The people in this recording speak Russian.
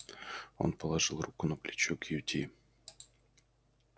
он положил руку на плечо кьюти